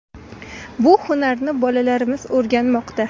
Bu hunarni bolalarimiz o‘rganmoqda.